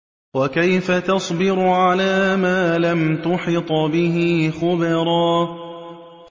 وَكَيْفَ تَصْبِرُ عَلَىٰ مَا لَمْ تُحِطْ بِهِ خُبْرًا